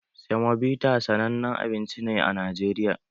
Semobita sanannen abinci ne a Najeriya